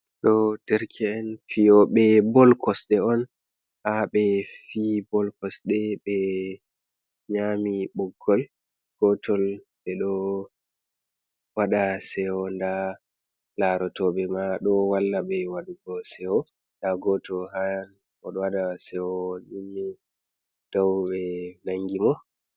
Ɗo derke' en fiyoɓe bol kosɗe on, haɓe fi bol kosɗe ɓe nyami ɓoggol gotol, ɓeɗo waɗa sewo nda larotoɓe ma ɗo walla ɓe waɗugo sewo, nda goto ha oɗo waɗa sewo o ummi dow ɓe nangi mo.